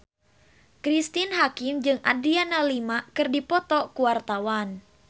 Cristine Hakim jeung Adriana Lima keur dipoto ku wartawan